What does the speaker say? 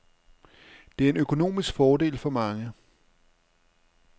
Det er en økonomisk fordel for mange.